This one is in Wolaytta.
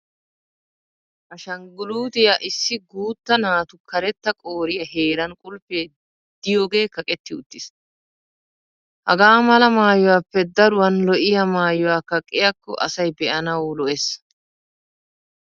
Ashangguluutiya issi guutta naatu karetta qooriya heran qulfee diyoogee kaqetti uttis. Hagaa mala maayuwappe daruwan lo'iyaa maayuwa kaqqiyaakko asay be'anawu lo'es.